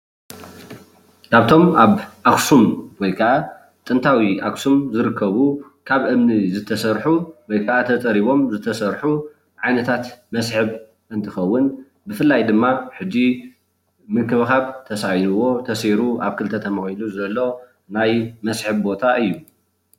ካብቶም ኣብ ኣክሱም ወይ ከዓ ጥንታዊ ኣክሱም ዝርከቡ ካብ እምኒ ዝተሰርሑ ወይ ከዓ ተፀሪቦም ዝተሰርሑ ዓይነታት መስሕብ እንትከውን ብፍላይ ድማ ሕጂ ምንክብካብ ተሳኢንዎ ተሰይሩ ኣብ ክልተ ተመቂሉ ዘሎ ናይ መስሕብ ቦታ እዩ፡፡